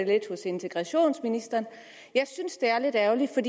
lidt hos integrationsministeren jeg synes det er lidt ærgerligt for